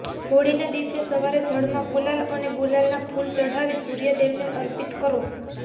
હોળીના દિવસે સવારે જળમાં ગુલાલ અને ગુલાબના ફૂલ ચઢાવી સૂર્ય દેવને અર્પિત કરો